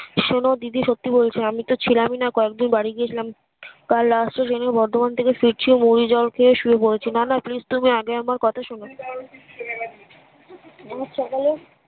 শোননা দিদি সত্যি বলছি আমি তো ছিলাম না কয়েকদিন বাড়ি গিয়ে ছিলাম কাল last ট্রেন এ বর্ধমান থেকে ফিরছি মুড়ি জল খেয়ে শুয়ে পড়েছি না না please তুমি আগেই আমার কথা শোনো রোজ সকালে